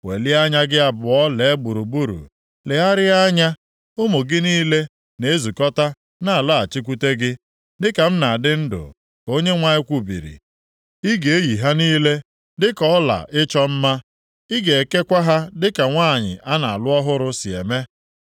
Welie anya gị abụọ lee gburugburu, legharịa anya, ụmụ gị niile na-ezukọta na-alọghachikwute gị. Dịka m na-adị ndụ,” ka Onyenwe anyị kwubiri. “Ị ga-eyi ha niile dịka ọla ịchọ mma, ị ga-ekekwa ha dịka nwanyị a na-alụ ọhụrụ si eme.